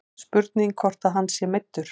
Spurning hvort að hann sé meiddur.